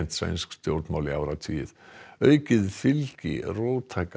sænsk stjórnmál í áratugi aukið fylgi róttæka